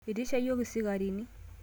Itisha yiok isikarini